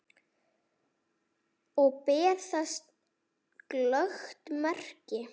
Og ber þess glöggt merki.